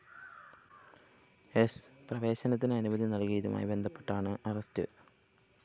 സ്‌ പ്രവേശനത്തിന് അനുമതി നൽകിയതുമായി ബന്ധപ്പെട്ടാണ് അറസ്റ്റ്‌